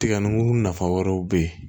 Tiga nugu nafa wɛrɛw bɛ ye